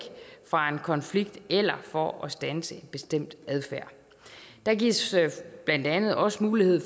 fra en konflikt eller for at standse en bestemt adfærd der gives blandt andet også mulighed